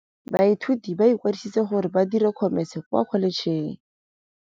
Baithuti ba ikwadisitse gore ba dire Khomese kwa Kholetšheng.